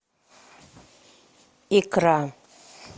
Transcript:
икра